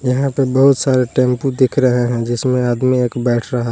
यहां पे बहुत सारे टेंपो दिख रहे हैं जिसमे आदमी एक बैठ रहा--